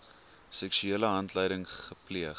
seksuele handeling gepleeg